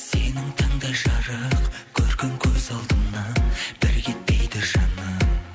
сенің таңдай жарық көркің көз алдымнан бір кетпейді жаным